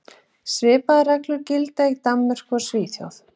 Svipaðar reglur gilda í Danmörku og Svíþjóð.